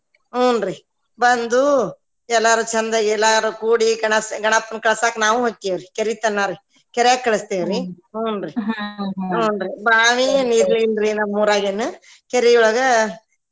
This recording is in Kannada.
ಹುನ್ರಿ ಬಂದು ಎಲ್ಲಾರು ಚಂದಗೆ ಎಲ್ಲಾರು ಕೂಡಿ ಗಣ ~ ಗಣಪ್ಪನ ಕಳ್ಸಾಕ ನಾವು ಕೆರಿ ತನಾ ರೀ ಕೆರ್ಯಾಗ ಕಳಸ್ತೇವ್ರಿ ಕೆರ್ಯಾಗ ಕಳಸ್ತೇವ್ರಿ ಕರಿಯೊಳಗ ಕೆರಿಯೊಳಗ.